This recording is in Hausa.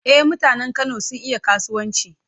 E, mutanen Kano sun iya kasuwanci.